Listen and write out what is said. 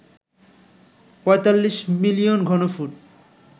৪৫ million ঘনফুট